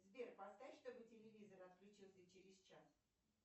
сбер поставь чтобы телевизор отключился через час